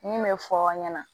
Min bɛ fɔ aw ɲɛna